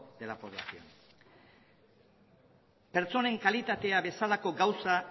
de la población pertsonen kalitatea bezalako gauza